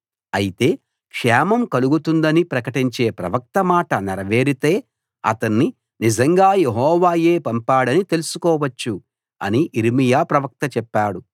అయితే క్షేమం కలుగుతుందని ప్రకటించే ప్రవక్త మాట నెరవేరితే అతన్ని నిజంగా యెహోవాయే పంపాడని తెలుసుకోవచ్చు అని యిర్మీయా ప్రవక్త చెప్పాడు